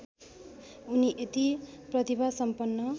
उनी यति प्रतिभासम्पन्न